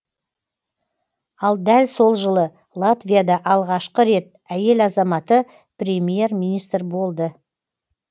ал дәл сол жылы латвияда алғашқы рет әйел азаматы премьер министр болды